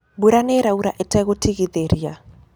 Mbura nĩĩraũra ĩtegũtigithĩria.